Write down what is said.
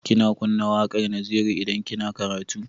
Kina kunna waƙar Naziru idan kina karatu?